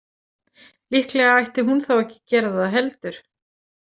Líklega ætti hún þá ekki að gera það heldur.